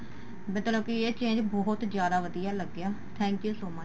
ਮਤਲਬ ਕੀ ਇਹ change ਬਹੁਤ ਜਿਆਦਾ ਵਧੀਆ ਲੱਗਿਆ thank you so much